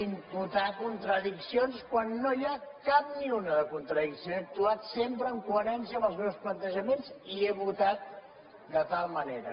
imputar contradiccions quan no n’hi ha cap ni una de contradicció he actuat sempre en coherència amb els meus plantejaments i he votat de tal manera